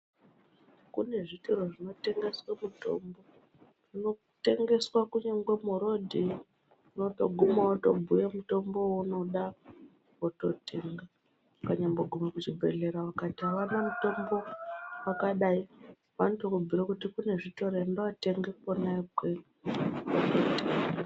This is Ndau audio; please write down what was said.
Kune zvitoro zvinotengeswe mitombo zvinotengeswa kunyangwe muroad, unotoguma wotobhuya mutombo wounoda wototenga unganyambo gume kuzvibhedhlera vakati avana mutombo wakadai vanotokubhuira kuti kune zvitoro enda wootenga kwena ikweyo.